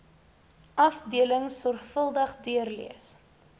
afdelings sorvuldig deurlees